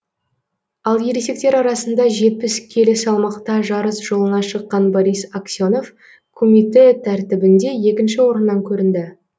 ал ересектер арасында жетпіс келі салмақта жарыс жолына шыққан борис аксенов кумитэ тәртібінде екінші орыннан көрінді